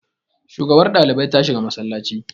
shugabar ɗalibi ta shiga masallaci